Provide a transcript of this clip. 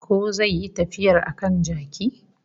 Ko zai yi tafiyar a kan jaki